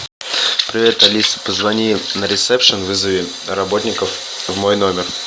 привет алиса позвони на ресепшн вызови работников в мой номер